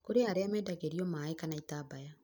kũrĩ arĩa mendagĩrio maĩ kana itambaya